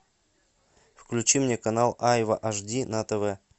включи мне канал айва аш ди на тв